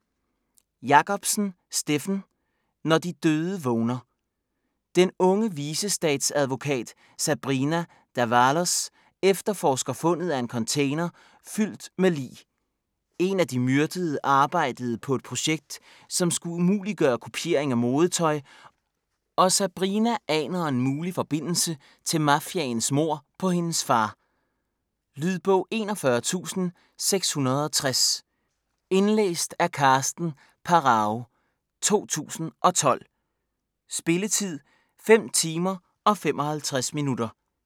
Jacobsen, Steffen: Når de døde vågner Den unge vicestatsadvokat Sabrina D'Avalos efterforsker fundet af en container fyldt med lig. En af de myrdede arbejdede på et projekt som skulle umuliggøre kopiering af modetøj, og Sabrina aner en mulig forbindelse til mafiaens mord på hendes far. Lydbog 41660 Indlæst af Karsten Pharao, 2012. Spilletid: 5 timer, 55 minutter.